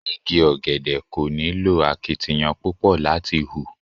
Igi ọ̀gẹ̀dẹ̀ kò nílò akitiyan púpọ̀ láti hù.